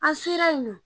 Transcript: An selen yen nɔ